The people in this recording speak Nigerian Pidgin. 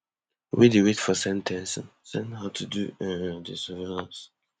wey dey wait for sen ten cing send her to do um di surveillance